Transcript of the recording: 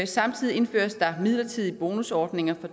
samtidig indføres der midlertidige bonusordninger fra